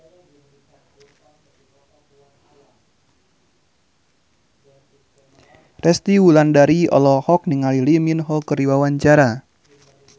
Resty Wulandari olohok ningali Lee Min Ho keur diwawancara